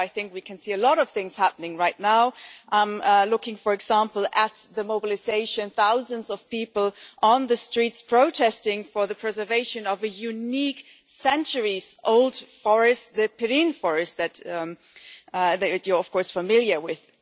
I think we can see a lot of things happening there right now looking, for example, at the mobilisation of thousands of people on the streets, protesting for the preservation of a unique centuries-old forest the Pirin National Park which you are, of course, familiar with.